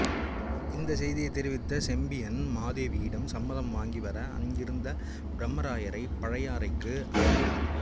இந்த செய்தியை தெரிவித்து செம்பியன் மாதேவியிடம் சம்மதம் வாங்கிவர அநிருத்த பிரம்மராயரை பழையாறைக்கு அனுப்பினார்